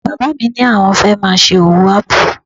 Bàbá mi ní àwọn fẹ́ máa ṣe owó ápù